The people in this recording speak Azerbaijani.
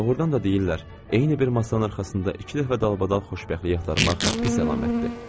Doğrudan da deyirlər, eyni bir masanın arxasında iki dəfə dalbadal xoşbəxtlik axtarmaq pis əlamətdir.